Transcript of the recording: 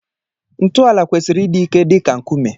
Ntọala kwesịrị ịdị ike dị ka nkume.